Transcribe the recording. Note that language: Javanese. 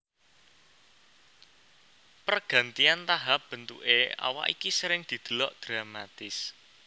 Pergantian tahap bentuké awak iki sering didelok dramatis